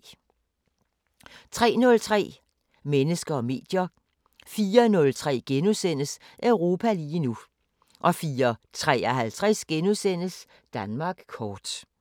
03:03: Mennesker og medier 04:03: Europa lige nu * 04:53: Danmark kort *